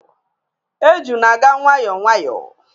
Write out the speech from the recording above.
Eju na-aga nwayọọ nwayọọ